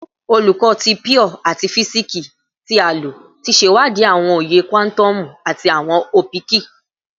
Olukọ ti Pure ati Fisiksi ti a lo ti ṣewadii awọn oye kuatomu ati awọn opiki